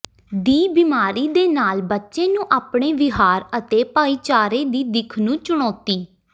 ਦੀ ਬਿਮਾਰੀ ਦੇ ਨਾਲ ਬੱਚੇ ਨੂੰ ਆਪਣੇ ਵਿਹਾਰ ਅਤੇ ਭਾਈਚਾਰੇ ਦੀ ਦਿੱਖ ਨੂੰ ਚੁਣੌਤੀ